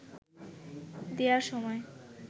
দেয়ার সময়